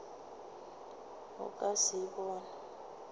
o ka se e bone